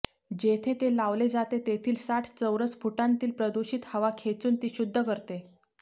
जेथे ते लावले जाते तेथील साठ चौरस फुटांतील प्रदूषित हवा खेचून ती शुद्ध करते